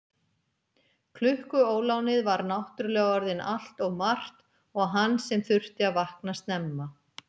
Klukkuólánið var náttúrlega orðin allt of margt og hann sem þurfti að vakna snemma.